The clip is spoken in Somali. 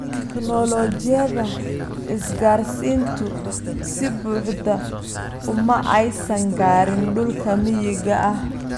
Tignoolajiyada isgaarsiintu si buuxda uma aysan gaarin dhulka miyiga ah.